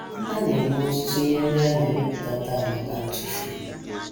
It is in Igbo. A na - eme ọtụtụ ihe ndị a na - emepụta taa maka ntụfu.